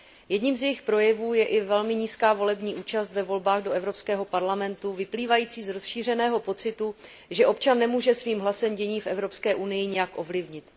Jedním z jejích projevů je i velmi nízká volební účast ve volbách do Evropského parlamentu vyplývající z rozšířeného pocitu, že občan nemůže svým hlasem dění v Evropské unii nijak ovlivnit.